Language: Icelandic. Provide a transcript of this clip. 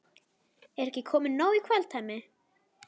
Er ekki komið nóg í kvöld, Hemmi?